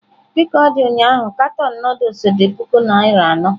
Dị ka ọ dị ụnyahụ katọn Nụdụls dị puku naira anọ.